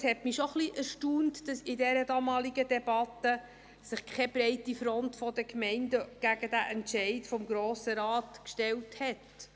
Es erstaunte mich schon ein bisschen, dass sich in der damaligen Debatte keine breite Front der Gemeinden gegen den Entscheid des Grossen Rates stellte.